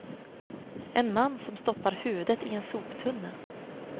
En man som stoppar huvudet i en soptunna.